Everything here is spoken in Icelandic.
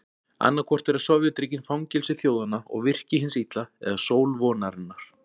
Annaðhvort eru Sovétríkin fangelsi þjóðanna og virki hins illa eða sól vonarinnar.